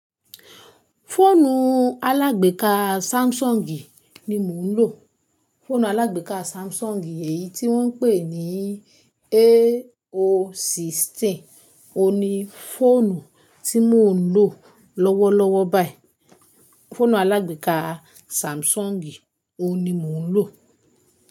Fóònù alágbééká Samsung ni mò ń lò. Fóònù alágbééká Samsung èyí tí wọ́n ń pè ní A016 ni fọ́ònù tí mò ń lò lọ́wọ́lọ́wọ́ báyìí. Fóònù alágbééká Samsung ohun ni mo ń lò.